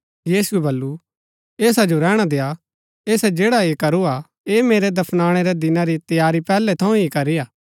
यीशुऐ बल्लू ऐसा जो रैहणा देय्आ ऐसै जैड़ा ऐह करू हा ऐह मेरै दफनाणै रै दिना री तैयारी पैहलै थऊँ ही करी हा